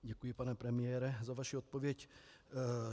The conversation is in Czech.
Děkuji, pane premiére, za vaši odpověď.